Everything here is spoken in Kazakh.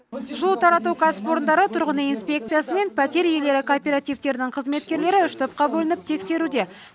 бұл тарату кәсіпорындары тұрғын үй инспекциясы мен пәтер иелері кооперативтерінің қызметкерлері үш топқа бөлініп тексеруде